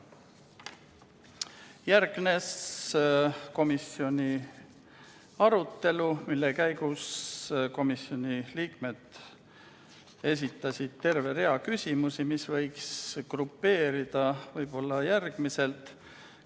Järgnes komisjoni arutelu, mille käigus komisjoni liikmed esitasid terve rea küsimusi, mis võiks grupeerida järgmiselt.